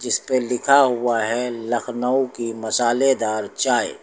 जिसपे लिखा हुआ है लखनऊ की मसालेदार चाय।